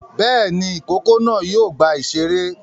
Bẹ́ẹ̀ ni, ìkókó náà yóò gba ìṣeré.